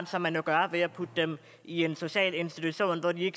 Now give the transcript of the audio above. som man jo gør ved at putte dem i en social institution hvor de